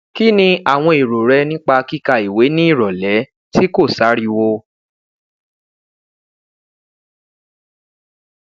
ki ni awọn ero rẹ nipa kika iwe ni irọlẹ ti ko sariwo